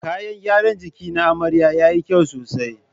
Kayan gyaran jiki na amarya yayi kyau sosai.